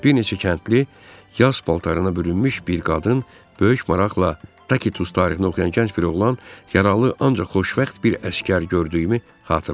Bir neçə kəndli, yas paltarına bürünmüş bir qadın, böyük maraqla takitus tarixini oxuyan gənc bir oğlan, yaralı ancaq xoşbəxt bir əsgər gördüyümü xatırlayıram.